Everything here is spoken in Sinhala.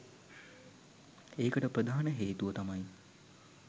එකට ප්‍රධාන හේතුව තමයි